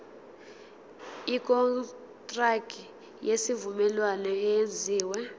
ikontraki yesivumelwano eyenziwe